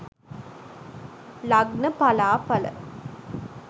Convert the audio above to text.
lagna pala pala